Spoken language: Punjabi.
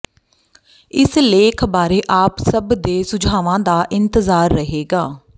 ਇਸ ਲੇਖ ਬਾਰੇ ਆਪ ਸਬ ਦੇ ਸੁਝਾਵਾਂ ਦਾ ਇੰਤਜਾਰ ਰਹੇਗਾ